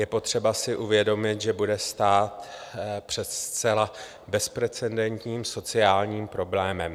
Je potřeba si uvědomit, že budeme stát před zcela bezprecedentním sociálním problémem.